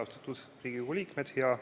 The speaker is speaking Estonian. Austatud Riigikogu liikmed!